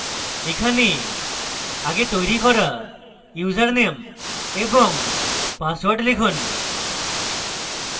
এখানে আগে তৈরী করা ইউজারনেম এবং পাসওয়ার্ড লিখুন